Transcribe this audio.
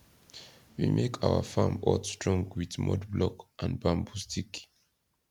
we make our farm hut strong with mud block and bamboo stick